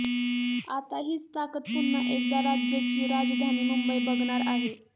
आता हीच ताकत पुन्हा एकदा राज्याची राजधानी मुंबई बघणार आहे